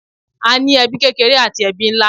A ní ẹbí kékeré àti ẹbí nlá.